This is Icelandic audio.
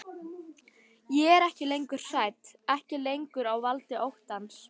Ég er ekki lengur hrædd, ekki lengur á valdi óttans.